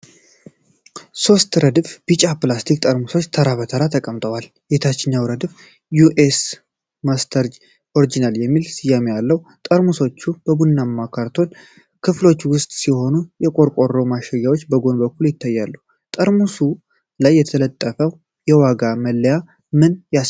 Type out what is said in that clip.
ሦስት ረድፍ ቢጫ ፕላስቲክ ጠርሙሶች ተራ በተራ ተቀምጠዋል። የታችኛው ረድፍ "ዩ ኤስ ማስተርድ ኦሪጅናል" የሚል ስያሜ አለው። ጠርሙሶቹ በቡናማ ካርቶን ክፍሎች ውስጥ ሲሆኑ፣ የቆርቆሮ ማሸጊያዎች በጎን በኩል ይታያሉ። በጠርሙሱ ላይ የተለጠፈው የዋጋ መለያ ምን ያሳያል?